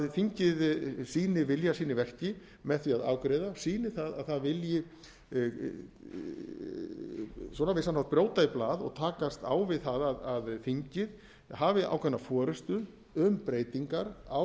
þingið sýni vilja sinn í verki með því að afgreiða sýni það að það vilji á vissan hátt brjóta í blað og takast á við það að þingið hafi ákveðna forustu um breytingar á